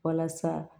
Walasa